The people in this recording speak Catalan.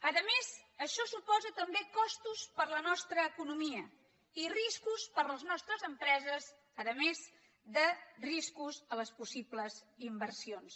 a més això suposa també costos per a la nostra economia i riscos per a les nostres empreses a més de riscos per a les possibles inversions